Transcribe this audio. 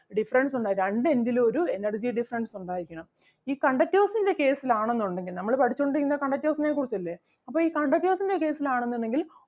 difference ഉണ്ടായിരിക്കണം രണ്ട് end ലും ഒരു energy difference ഉണ്ടായിരിക്കണം ഈ conductors ൻ്റെ case ൽ ആണെന്നുണ്ടെങ്കിൽ നമ്മള് പഠിച്ചോണ്ട് ഇരിക്കുന്നത് conductors നെ കുറിച്ച് അല്ലേ അപ്പൊ ഈ conductors ൻ്റെ case ൽ ആണെന്നുണ്ടെങ്കിൽ